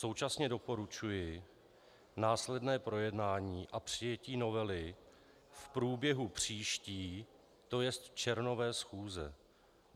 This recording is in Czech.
Současně doporučuji následné projednání a přijetí novely v průběhu příští, to jest červnové schůze.